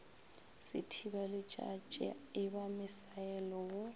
sethibaletšatši e ba misaele wo